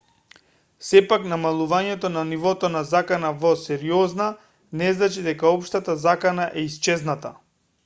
сепак намалувањето на нивото на закана во сериозна не значи дека општата закана е исчезната